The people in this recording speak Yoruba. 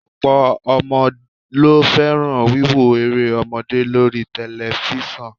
Ọ̀pọ̀ ọmọ ló fẹ́ràn wíwo eré ọmọdé lóri tẹlifíṣàn